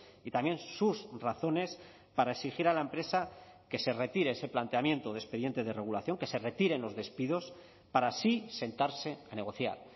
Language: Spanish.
y también sus razones para exigir a la empresa que se retire ese planteamiento de expediente de regulación que se retiren los despidos para así sentarse a negociar